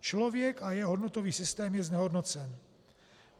Člověk a jeho hodnotový systém je znehodnocen.